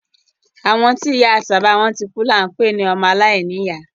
Àwọn tí ìya àti bàbá wọn tikú ni à ń pé ní ọmọ alàìní ìyá.